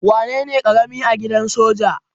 Wanene karami a gidan soja?